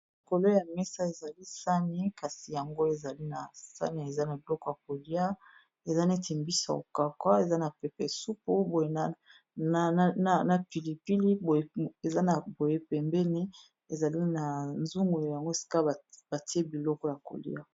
Likolo ya mesa ezali sani kasi yango ezali na sani eza na biloko ya kolia eza neti mbisa ya ko kawuka eza na pepe supu boye na pilipili eza na boye pembene ezali na zungu yango sika batie biloko ya kolia.